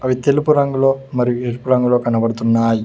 అది తెలుపు రంగులో మరియు ఎరుపు రంగులో కనబడుతున్నాయి.